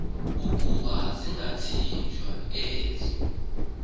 ukuba zingathinjwa ezo